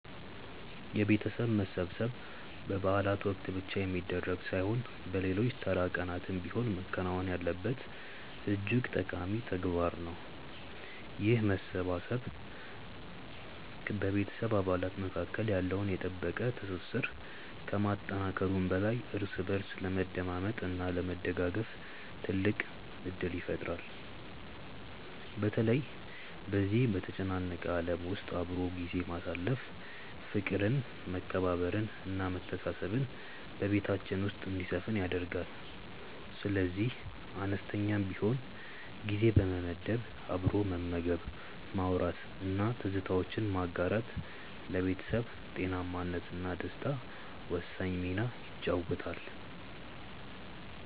የቤተሰብ መሰብሰብ በበዓላት ወቅት ብቻ የሚደረግ ሳይሆን በሌሎች ተራ ቀናትም ቢሆን መከናወን ያለበት እጅግ ጠቃሚ ተግባር ነው። ይህ መሰባሰብ በቤተሰብ አባላት መካከል ያለውን የጠበቀ ትስስር ከማጠናከሩም በላይ እርስ በእርስ ለመደማመጥ እና ለመደጋገፍ ትልቅ ዕድል ይፈጥራል። በተለይ በዚህ በተጨናነቀ ዓለም ውስጥ አብሮ ጊዜ ማሳለፍ ፍቅርን መከባበርን እና መተሳሰብን በቤታችን ውስጥ እንዲሰፍን ያደርጋል። ስለዚህ አነስተኛም ቢሆን ጊዜ በመመደብ አብሮ መመገብ ማውራት እና ትዝታዎችን ማጋራት ለቤተሰብ ጤናማነት እና ደስታ ወሳኝ ሚና ይጫወታል